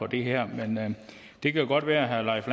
det her er men det kan godt være herre leif